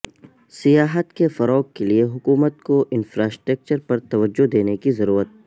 سیاحت کے فروغ کے لیے حکومت کو انفراسٹرکچر پر توجہ دینے کی ضرورت